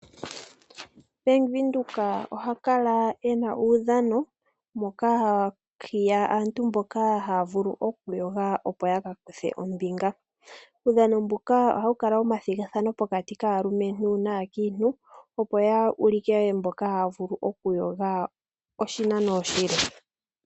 Bank windhoek ohakala ena uudhano moka hahiya aantu mboka hayavulu oku yoga opo yakakuthe ombinga, uudhano mbuka ohawukala wo mathigathano pokati kaakiintu naalumentu opo ya ulike mboka hayavulu okuyoga oshinano oshile.